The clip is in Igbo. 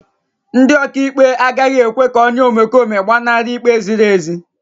Ndị ọkàikpe agaghị ekwe ka onye omekome gbanarị ikpe ziri ezi.